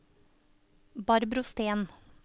Barbro Steen